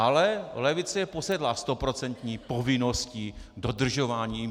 Ale levice je posedlá stoprocentní povinností, dodržováním.